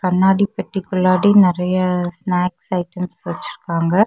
கண்ணாடி பெட்டிக்குள்ளடி நெறைய ஸ்னாக்ஸ் ஐட்டம்ஸ் வெச்சுருக்காங்க.